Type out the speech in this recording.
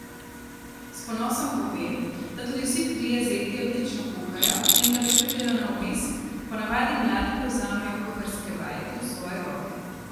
S ponosom pove, da tudi vsi trije zeti odlično kuhajo, in kadar pridejo na obisk, ponavadi mladi prevzamejo kuharske vajeti v svoje roke.